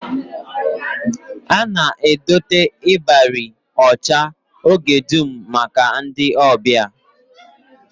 A na-edote ịbarị ọcha oge dum maka ọbịa